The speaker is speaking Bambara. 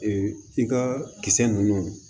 i ka kisɛ nunnu